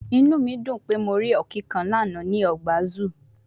Inu mi dun pe Mo ri Ọ̀kín kan lana ni ọgba ọgba zoo